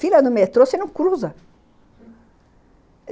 Filha, no metrô você não cruza!